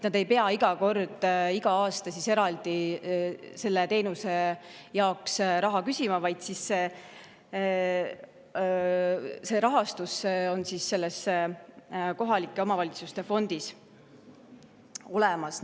Nad ei pea iga aasta eraldi selle teenuse jaoks raha küsima, vaid see rahastus on kohalike omavalitsuste fondis olemas.